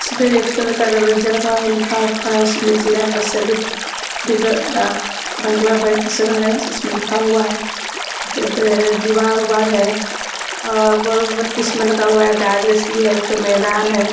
इसमें red colour का दरवाजा लगा हुआ है लिखा हुआ है इसमें जिला प्रसिद्ब डीग डाक इसमें लिखा हुआ है। दीवार-उवार है और बॉल बत्ती इसमें लगा हुआ है है एक ठो मैदान है।